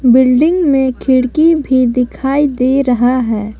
Building में खिड़की भी दिखाई दे रहा है।